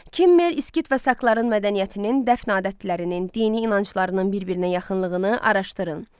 Kimmer, İskit və sakların mədəniyyətinin, dəfn adətlərinin, dini inanclarının bir-birinə yaxınlığını araşdırın.